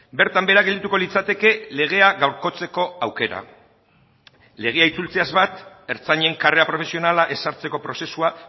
bertan behera geldituko litzateke legea gaurkotzeko aukera legea itzultzeaz bat ertzainen karrera profesionala ezartzeko prozesua